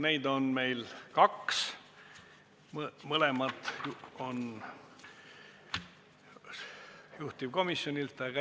Neid on meil kaks, mõlemad on juhtivkomisjonilt.